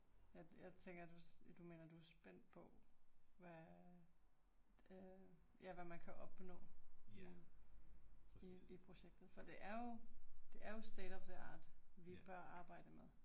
Ja jeg tænker du mener du er spændt på hvad, ja hvad man kan opnå i i i projektet for det er jo, det er jo state of the art vi bør arbejde med